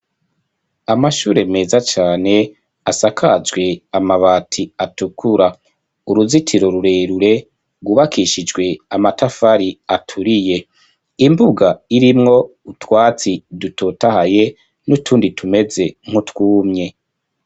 Amashure meza cane asakajwe amabati atukura uruzitiro rurerure gubakishijwe amatafari aturiye imbuga irimwo utwatsi dutotahaye n'utundi tumeze nkutwumye.